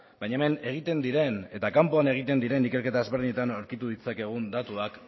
baina hemen egiten diren eta kanpoan egiten diren ikerketa ezberdinetan aurkitu ditzakegun datuak